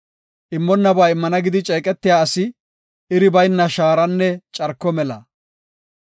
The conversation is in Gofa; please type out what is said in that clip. Immonnaba immana gidi ceeqetiya asi iri bayna shaaranne carko mela.